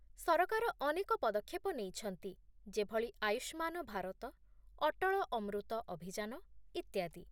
ସରକାର ଅନେକ ପଦକ୍ଷେପ ନେଇଛନ୍ତି, ଯେଭଳି ଆୟୁଷ୍ମାନ ଭାରତ, ଅଟଳ ଅମୃତ ଅଭିଯାନ, ଇତ୍ୟାଦି